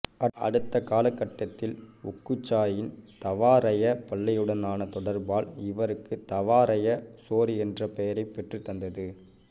அடுத்த காலகட்டத்தில் ஒக்குசாயின் தவாரய பள்ளியுடனான தொடர்பால் இவருக்கு தவாரய சோரி என்ற பெயரைப் பெற்றுத் தந்தது